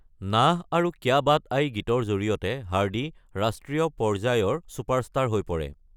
নাহ আৰু ক্যা বাট আয় গীতৰ জৰিয়তে হাৰ্ডি ৰাষ্ট্ৰীয় পৰ্যায়ৰ ছুপাৰষ্টাৰ হৈ পৰে।